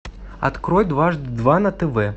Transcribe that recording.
открой дважды два на тв